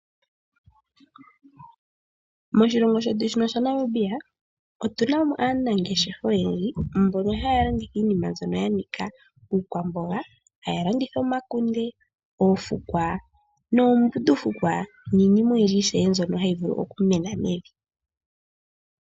Moshilongo shetu shino sha Namibia otu namo aanangeshefa oyendji mbono haya landitha iinima mbyono ya nika iikwamboga. Haya landitha omakunde, oofukwa noombundufukwa niinima oyindji ishewe mbyono hayi vulu okumena mevi.